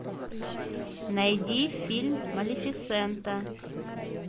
найди фильм малефисента